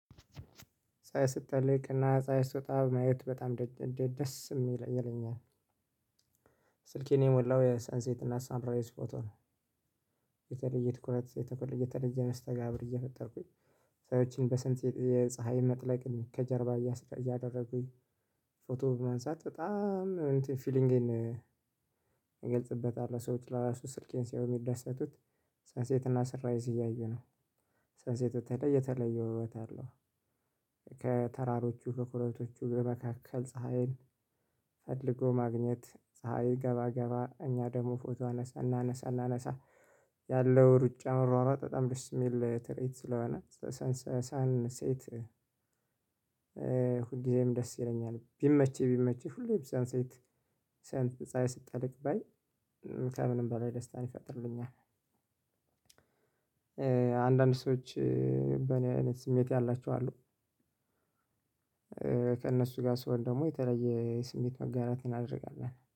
ፀሀይ ስትጠልቅና ፀሀይ ስትወጣ ማየት በጣም ደስ ይለኛል። ስልኬን የሞላው የሰንሴት እና ሰንራይዝ ፎቶ ነው። የተለየ ትኩረት የተለየ የተለየ መስተጋብር እየፈጠርኩኝ። ሰዎችን በሰንሴት የፀሀይ መጥለቅን ከጀርባ እያሰ እያደረጉኝ ፎቶ ማንሳት በጣም እንትን ፊሊንግን። እገልጽበታለሁ ሰዎች ለራሱ ስልኬን ሲያዩ የሚደሰቱት ሰንሴትና ሰንራይዝ እያዩ ነው። ሰንሴት በተለይ የተለየ ውበት አለው። በኮረብቶቹ ጋር በመካከል ፀሀይን ፈልጎ ማግኘት ፀሀይ ገባ ገባ እኛ ደግሞ ፎቶ አነሳ እናነሳ እናነሳ። ያለው ሩጫው አሯሯጥ በጣም ደስ የሚል ትርዒት ስለሆነ ሳን ሳንሴት ሁል ጊዜም ደስ ይለኛል። ቢመቸኝ ቢመቸኝ ሁሌም ሳንሴት ፀሀይ ስትጠልቅ ባይ ከምንም በላይ ደስታን ይፈጥርልኛል። ይፈጥርልኛል አንዳንድ ሰዎች በእኔ አይነት ስሜት ያላቸው አሉ። ከእነሱ ጋር ስሆን ደግሞ የተለየ ስሜት መጋራት እናደርጋለን